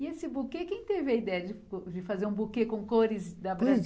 E esse buquê, quem teve a ideia de po, de fazer um buquê com cores da